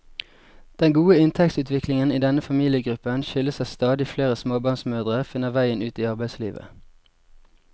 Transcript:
Den gode inntektsutviklingen i denne familiegruppen skyldes at stadig flere småbarnsmødre finner veien ut i arbeidslivet.